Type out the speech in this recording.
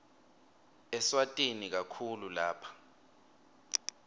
eswatini kakhulu lapha